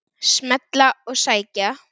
Smella og sækja.